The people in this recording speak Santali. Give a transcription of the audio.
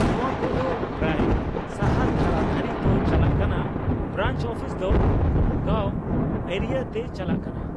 ᱱᱚᱣᱟ ᱠᱚ ᱫᱚ ᱯᱨᱟᱭ ᱥᱟᱦᱟᱨ ᱫᱷᱟᱨᱟ ᱫᱷᱟᱨᱤ ᱛᱚ ᱪᱟᱞᱟᱜ ᱠᱟᱱᱟ ᱾ ᱵᱨᱟᱱᱪ ᱚᱯᱷᱤᱥ ᱫᱚ ᱜᱟᱚ ᱮᱨᱤᱭᱟ ᱛᱮ ᱪᱟᱞᱟᱜ ᱠᱟᱱᱟ ᱾